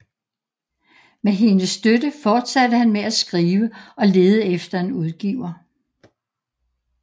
Med hendes støtte fortsatte han med at skrive og lede efter en udgiver